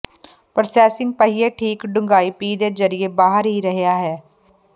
processing ਪਹੀਏ ਠੀਕ ਡੂੰਘਾਈ ਪੀਹ ਦੇ ਜ਼ਰੀਏ ਬਾਹਰ ਹੀ ਰਿਹਾ ਹੈ